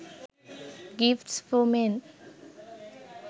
gifts for men